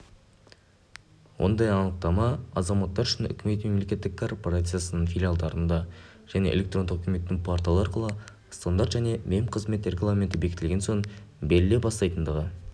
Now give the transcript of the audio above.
ондай анықтама азаматтар үшін үкімет мемлекеттік корпорациясының филиалдарында және электрондық үкіметтің порталы арқылы стандарт және мемқызмет регламенті бекітілген соң беріле бастайтындығы